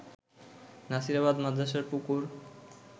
নাসিরাবাদ মাদ্রাসার পুকুর